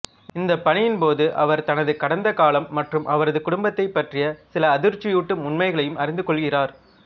இந்த பணியின்போது அவர் தனது கடந்த காலம் மற்றும் அவரது குடும்பத்தைப் பற்றிய சில அதிர்ச்சியூட்டும் உண்மைகளையும் அறிந்துகொள்கிறார்